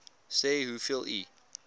sê hoeveel u